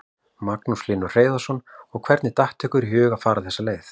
Magnús Hlynur Hreiðarsson: Og hvernig datt ykkur í hug að fara þessa leið?